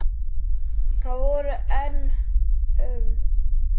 Það voru enn um